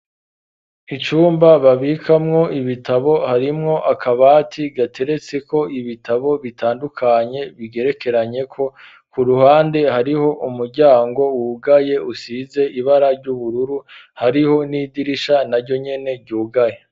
Icumba babikamwo ibitabo, harimwo akabati gateretse ko ibitabo bitandukanye, bigerekeranye ko ku ruhande hariho umuryango wugaye usize ibara ry'ubururu, hariho n'idirisha na ryo nyene ryugaye.